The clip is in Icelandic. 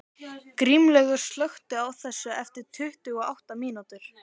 Grímlaugur, slökktu á þessu eftir tuttugu og átta mínútur.